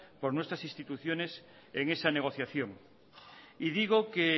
por nuestras instituciones en esa negociación y digo que